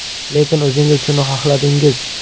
Lekin o‘zingiz shuni xohladingiz.